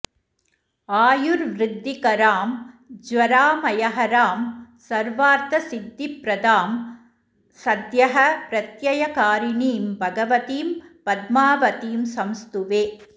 आयुर्वृद्धिकरां ज्वरामयहरां सर्वार्थसिद्धिप्रदां सद्यः प्रत्ययकारिणीं भगवतीं पद्मावतीं संस्तुवे